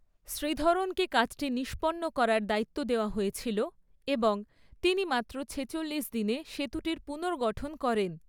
শ্রীধরনকে কাজটি নিষ্পন্ন করার দায়িত্ব দেওয়া হয়েছিল এবং তিনি মাত্র ছেচল্লিশ দিনে সেতুটির পুনর্গঠন করেন।